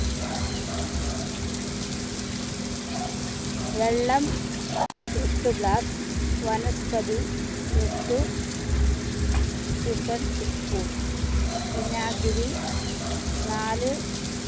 വെള്ളം എട്ടു glassvanaspathi എട്ടു spoon വിനാഗിരി നാല്